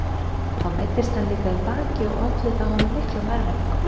Þá meiddist hann líka í baki og olli það honum miklum erfiðleikum.